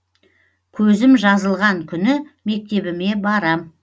көзім жазылған күні мектебіме барам